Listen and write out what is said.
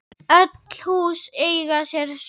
Öll hús eiga sér sögu.